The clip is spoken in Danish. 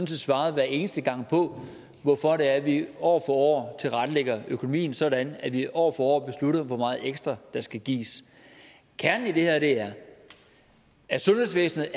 set svaret hver eneste gang på hvorfor det er at vi år for år tilrettelægger økonomien sådan at vi år for år beslutter hvor meget ekstra der skal gives kernen i det her er at at sundhedsvæsenet